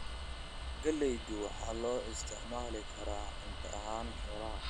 Galaydu waxaa loo isticmaali karaa cunto ahaan xoolaha.